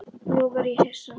Nú varð ég hissa.